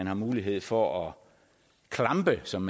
har mulighed for at klampe som